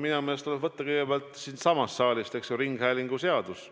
Minu meelest tuleb võtta kõigepealt siitsamast saalist ringhäälinguseadus,